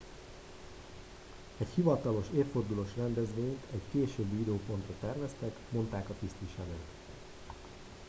egy hivatalos évfordulós rendezvényt egy későbbi időpontra terveztek mondták a tisztviselők